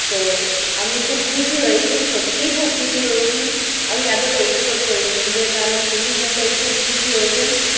তো আমি খুব খুশি হয়েছি সত্যিই খুব খুশি হয়েছি। আমি এতটা expect করিনি। even আমার শ্বশুরমশাই খুব খুশি হয়েছেন।